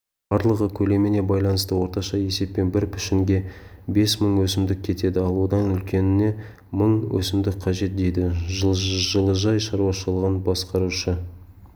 барлығы көлеміне байланысты орташа есеппен бір пішінге бес мың өсімдік кетеді ал одан үлкеніне мың өсімдік қажет дейді жылыжай шаруашылығын басқарушы